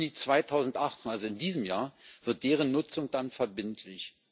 Im Juni 2018, also in diesem Jahr, wird deren Nutzung dann verbindlich.